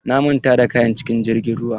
Na manta da kayan cikin jirgin ruwa.